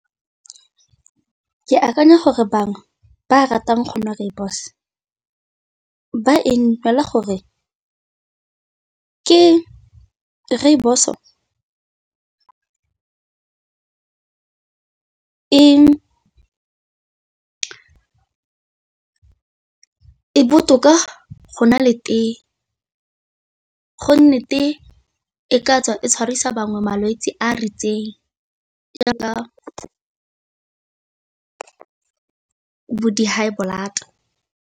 Ke akanya gore bangwe ba ratang go nwa rooibos ba e nwela gore ke rooibos e e botoka go na le tee, go nne tee e ka tswa e tshwarisa bangwe malwetse a a ritseng jaaka bo di-high blood.